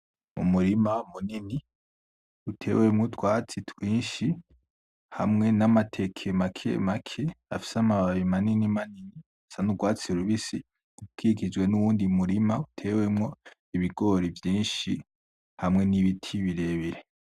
Umurima munini utewemwo utwatsi twishi hamwe n’amateke makemake afise amababi manini manini asa n’urwatsi rubisi, Ukikijwe n’uwundi mu rima utewemwo ibigori vyishi hamwe n’ibiti birebire.